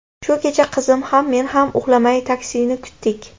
Shu kecha qizim ham, men ham uxlamay taksini kutdik.